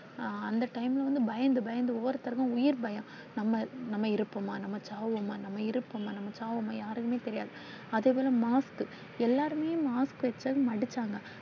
அந்த time ல வந்து பயந்து பயந்து ஒவ்வொருத்தருக்கும் உயிர் பயம். நம்ம நம்ம இருப்போமா நம்ம சாவமா நம்ம இருப்போமா நம்ம சாவமா யாருக்குமே தெரியாது. அதேபோல mask எல்லாருமே mask வச்சு தான் மடிச்சாங்க.